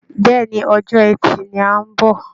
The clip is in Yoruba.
Bẹ́ẹ̀ ni, ọjọ́ ẹtì ni à ń bọ̀